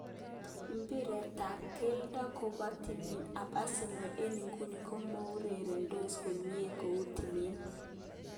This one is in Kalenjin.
Mbiret tab keldo koba timit ab Arsenal eng iguni komoureredos komie kou timit.